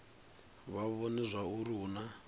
vha vhone zwauri hu na